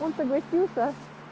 он согласился